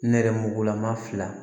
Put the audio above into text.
Nɛrɛmugugulama fila